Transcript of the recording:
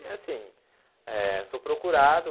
E assim, eh sou procurado.